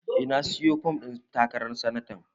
Eh, na sayi fom ɗin takarar sanata